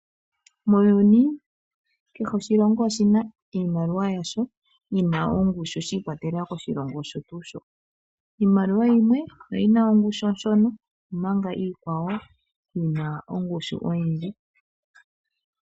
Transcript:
Muuyuni kehe oshilongo oshina iimaliwa yasho yi na ongushu shiikwatelela koshilongo osho tuu sho. Iimaliwa yimwe oyi na ongushu oshona omanga iikwawo yi na ongushu oyindji.